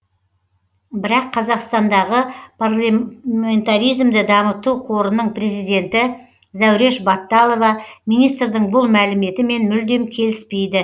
бірақ қазақстандағы парламентаризмді дамыту қорының президенті зәуреш батталова министрдің бұл мәліметімен мүлдем келіспейді